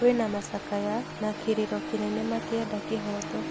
Kwĩna macakaya, na kĩrĩro kĩnene makĩenda kĩhooto